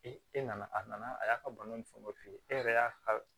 e nana a nana a y'a ka bana ni fɛnw f'i ye e yɛrɛ y'a